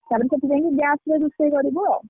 ଖଳିପତି ଦେଇ gas ରେ ରୋଷେଇ କରିବୁ ଆଉ।